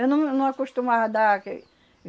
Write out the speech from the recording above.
Eu não não acostumava a dar que